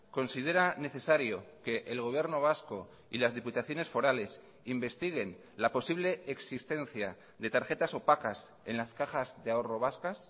considera necesario que el gobierno vasco y las diputaciones forales investiguen la posible existencia de tarjetas opacas en las cajas de ahorro vascas